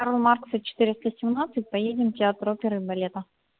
карла маркса четыреста семнадцать поедем в театр оперы и балета